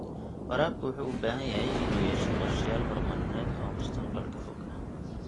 Waraabka wuxuu u baahan yahay inuu yeesho qorshayaal horumarineed oo mustaqbalka fog ah.